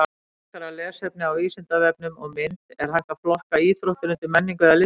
Frekara lesefni á Vísindavefnum og mynd Er hægt að flokka íþróttir undir menningu eða listir?